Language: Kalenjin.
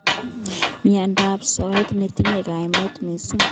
Mnyendo ab soet netinyen kaimet missing.